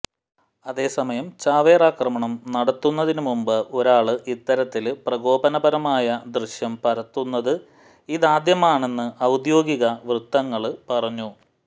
അതേസമയം ചാവേറാക്രമണം നടത്തുന്നതിന് മുമ്പ് ഒരാള് ഇത്തരത്തില് പ്രകോപനപരമായ ദൃശ്യം പകര്ത്തുന്നത് ഇതാദ്യമാണെന്ന് ഔദ്യോഗിക വൃത്തങ്ങള് പറഞ്ഞു